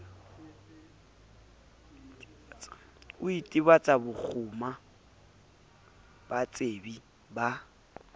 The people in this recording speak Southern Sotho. o itebatsa boguma batsebi ba